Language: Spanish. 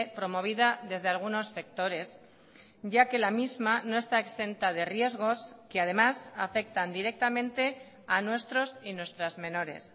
promovida desde algunos sectores ya que la misma no está exenta de riesgos que además afectan directamente a nuestros y nuestras menores